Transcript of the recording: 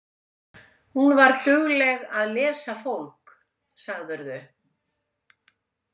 Hún var dugleg að lesa fólk, sagðirðu?